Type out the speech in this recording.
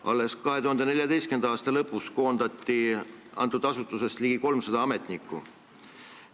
Alles 2014. aasta lõpus koondati sellest asutusest ligi 300 ametnikku.